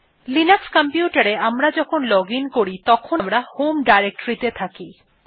Linux computer এ আমরা যখন লজিন করি তখন আমরা হোম ডিরেক্টরি তে থাকি